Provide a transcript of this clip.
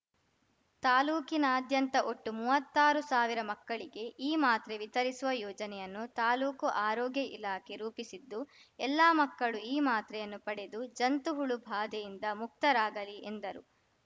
ತಾಲೂಕಿನಾದ್ಯಂತ ಒಟ್ಟು ಮುವತ್ತು ಸಾವಿರ ಮಕ್ಕಳಿಗೆ ಈ ಮಾತ್ರೆ ವಿತರಿಸುವ ಯೋಜನೆಯನ್ನು ತಾಲೂಕು ಆರೋಗ್ಯ ಇಲಾಖೆ ರೂಪಿಸಿದ್ದು ಎಲ್ಲಾ ಮಕ್ಕಳು ಈ ಮಾತ್ರೆಯನ್ನು ಪಡೆದು ಜಂತುಹುಳು ಬಾಧೆಯಿಂದ ಮುಕ್ತರಾಗಲಿ ಎಂದರು